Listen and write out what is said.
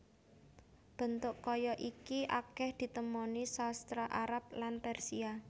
Bentuk kaya iki akèh ditemoni sastra Arab lan Persia